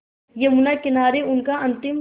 यमुना किनारे उनका अंतिम